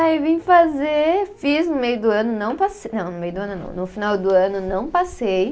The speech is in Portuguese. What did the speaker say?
Aí vim fazer, fiz no meio do ano, não passei, não, no meio do ano não, no final do ano não passei.